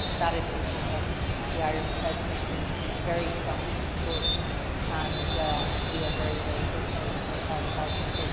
That is something that the Irish Presidency very strongly supports, and we are very hopeful for a positive outcome.